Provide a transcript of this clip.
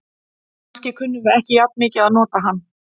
Kannski kunnum við ekki jafn mikið að nota hann.